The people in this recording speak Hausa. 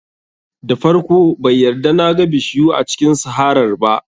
Da farko bai yarda na ga bishiyu a cikin saharar ba